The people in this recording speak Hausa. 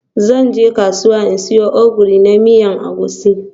Zan je kasuwa in siyo Ogiri na miya na Egusi.